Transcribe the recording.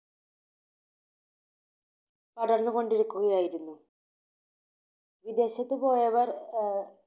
പടർന്നുകൊണ്ടിരിക്കുകയായിരുന്നു. വിദേശത്തുപോയവർ ആഹ്